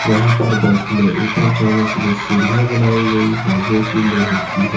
यहां पर बस में ऊपर चढ़ने के लिए सीढ़ियां बनाई गई हैं जो की लोहे की है।